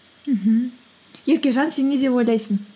мхм еркежан сен не деп ойлайсың